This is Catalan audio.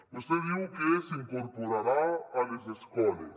vostè diu que s’incor·porarà a les escoles